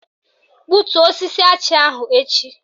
Gbutuo osisi achị ahụ echi!